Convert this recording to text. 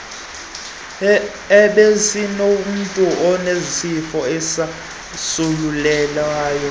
ebesinomntu onesifo esasulelayo